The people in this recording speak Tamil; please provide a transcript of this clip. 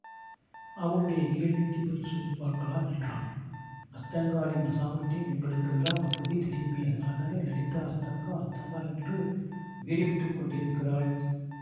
அவளுடைய கேள்விக்குப் பதில் சொல்லு பார்க்கலாம் என்றான்அத்தங்காளின் அசாமர்த்தியம் எங்களுக் கெல்லாம் அப்போதே தெரியுமே அதனாலேதான் லலிதா அத்தங்கா அத்தங்கா என்று உயிரை விட்டுக்கொண்டிருக்கிறாள்